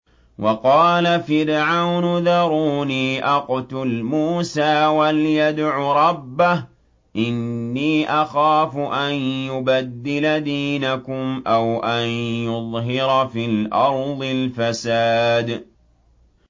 وَقَالَ فِرْعَوْنُ ذَرُونِي أَقْتُلْ مُوسَىٰ وَلْيَدْعُ رَبَّهُ ۖ إِنِّي أَخَافُ أَن يُبَدِّلَ دِينَكُمْ أَوْ أَن يُظْهِرَ فِي الْأَرْضِ الْفَسَادَ